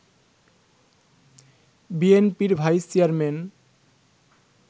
বিএনপির vice chairman